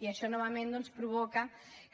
i això novament doncs provoca